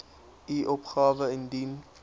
u opgawe indien